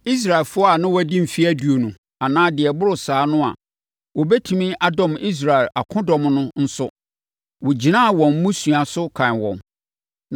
Israelfoɔ a na wɔadi mfeɛ aduonu anaa deɛ ɛboro saa no a wɔbɛtumi adɔm Israel akodɔm no nso, wɔgyinaa wɔn mmusua so kan wɔn.